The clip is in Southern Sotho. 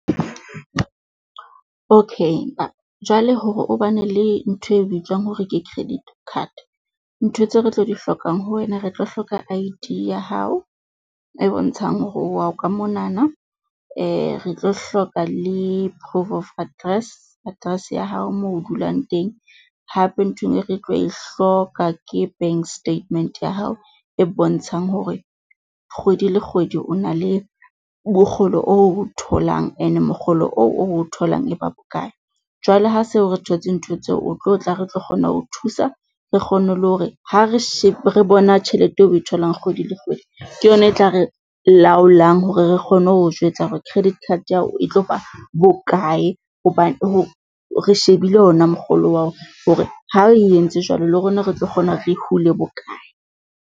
Okay ma, jwale hore o ba ne le ntho e bitswang hore ke credit card. Ntho tseo re tlo di hlokang ho wena, re tlo hloka I_D ya hao e bontshang hore o wa ka monana, re tlo hloka le proof of address, address ya hao moo dulang teng. Hape ntho enngwe e re tlo e hloka ke bank statement ya hao e bontshang hore kgwedi le kgwedi o na le mokgolo oo tholang ene mokgolo oo o tholang eba bokae. Jwale ha seo re thotse ntho tseo o tlo tla re tlo kgona ho thusa re kgone le hore ha re re bona tjhelete eo oe tholang kgwedi le kgwedi, ke yona e tla re laolang hore re kgone ho jwetsa hore credit card ya hao e tlo ba bokae, hobane re shebile ona mokgolo wa hore ha re e entse jwalo, le rona re tlo kgona re hule bokae.